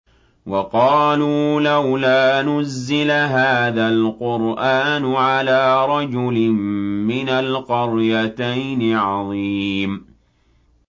وَقَالُوا لَوْلَا نُزِّلَ هَٰذَا الْقُرْآنُ عَلَىٰ رَجُلٍ مِّنَ الْقَرْيَتَيْنِ عَظِيمٍ